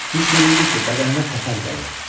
Hiss eləyirdi ki, bədəninə təpər gəlir.